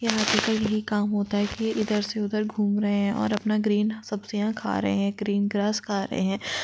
ये हाथी का यही काम होता है की ये इधर से उधर घुम रहे है अपना ग्रीन सब्जियाँ खा रहे है ग्रीन ग्रास का रहे है।